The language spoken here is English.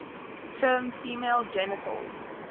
term female genital